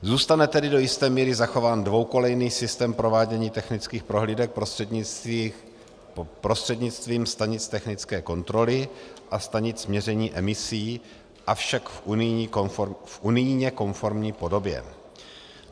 Zůstane tedy do jisté míry zachován dvoukolejný systém provádění technických prohlídek prostřednictvím stanic technické kontroly a stanic měření emisí, avšak v unijně konformní podobě.